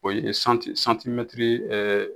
O ye santi santimɛtiri ɛɛ